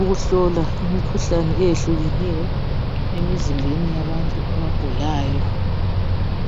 ukuhlola imikhuhlane eyehlukeneyo emzimbeni yabantu abagulayo.